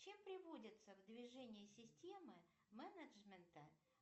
чем приводится в движение система менеджмента